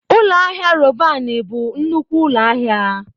Ụlọ ahịa Robanị bụ nnukwu ụlọ ahịa.